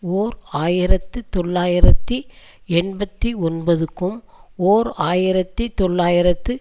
ஓர் ஆயிரத்து தொள்ளாயிரத்தி எண்பத்தி ஒன்பதுக்கும் ஓர் ஆயிரத்தி தொள்ளாயிரத்து